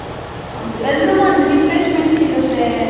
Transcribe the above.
ಹೌದು ಎಲ್ರಿಗೂ ಒಂದ್ refreshment ಸಿಗುತ್ತೆ .